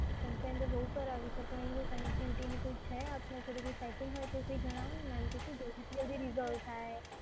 Complain તો બઉ કરાવી છે પણ connectivity ની કોઈ છે આપને જોકે કઈ સેટિંગ હોય તો એવું કઈ જણાવોને મેમ તો શું જલ્દી થી જલ્દી રિસોલ્વ થાય.